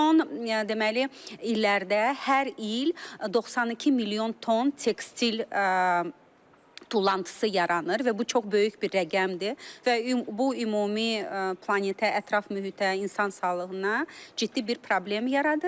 Son deməli illərdə hər il 92 milyon ton tekstil tullantısı yaranır və bu çox böyük bir rəqəmdir və bu ümumi planetə, ətraf mühitə, insan sağlığına ciddi bir problem yaradır.